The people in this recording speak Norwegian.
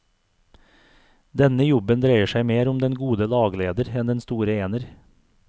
Denne jobben dreier seg mer om den gode lagleder enn den store ener.